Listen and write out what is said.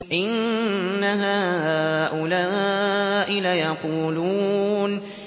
إِنَّ هَٰؤُلَاءِ لَيَقُولُونَ